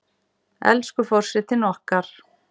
Elsku forsetinn okkar!